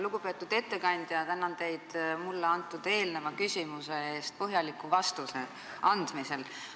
Lugupeetud ettekandja, tänan teid minu eelmisele küsimusele antud põhjaliku vastuse eest!